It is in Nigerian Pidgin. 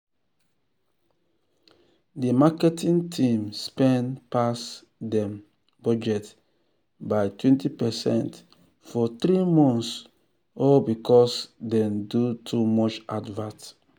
de marketing team spend pass dem budget by 12 percent for three months all because dem do too much advert.